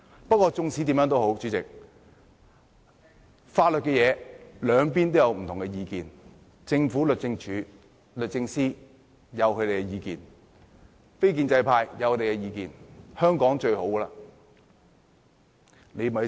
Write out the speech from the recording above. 不過，無論如何，主席，在法律問題上，兩邊也有不同意見，政府及律政司有他們的意見，非建制派有他們的意見。